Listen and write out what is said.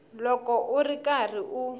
loko u ri karhi u